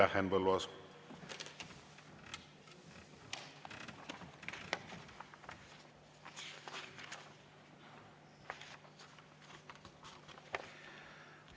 Aitäh, Henn Põlluaas!